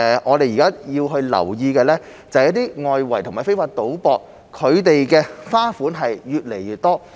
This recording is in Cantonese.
我們現時要留意的是，一些外圍和非法賭博的花款越來越多。